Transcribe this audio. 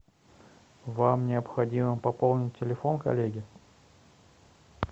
вам необходимо пополнить телефон коллеги